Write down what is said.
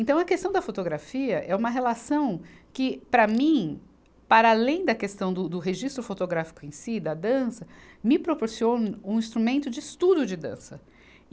Então, a questão da fotografia é uma relação que, para mim, para além da questão do, do registro fotográfico em si, da dança, me proporciona um instrumento de estudo de dança.